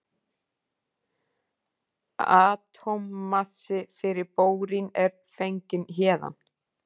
Atómmassi fyrir bórín er fenginn héðan.